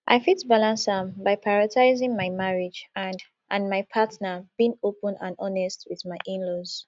i fit balance am by prioritizing my marriage and and my partner being open and honest with my inlaws